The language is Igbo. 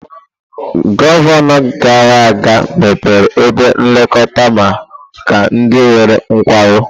Gọvanọ gara aga mepere ebe nlekọta maka ndị nwere nkwarụ.